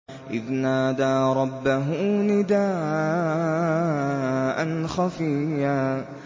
إِذْ نَادَىٰ رَبَّهُ نِدَاءً خَفِيًّا